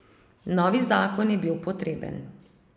Novi zakon je bil potreben.